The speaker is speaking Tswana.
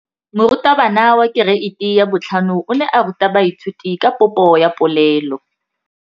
Moratabana wa kereiti ya 5 o ne a ruta baithuti ka popô ya polelô.